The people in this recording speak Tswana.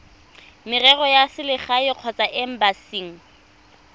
merero ya selegae kgotsa embasing